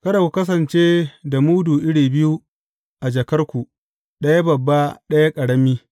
Kada ku kasance da mudu iri biyu a jakarku, ɗaya babba, ɗaya ƙarami.